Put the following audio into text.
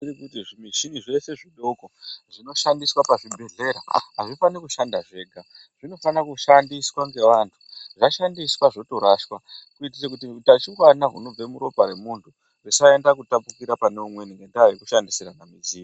Zvimichini zvese zvidoko zvinoshandiswa pazvibhedhlera azvifani kushanda zvega zvinofana kushandiswa ngevantu zvashandiswa zvotoraswa kuitire kuti utachiwana hunobva muropa remuntu usaenda kutapukira pane umweni ngenda yekushandisina midziyo .